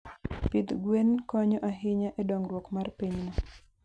Pidh gwen konyo ahinya e dongruok mar pinyno.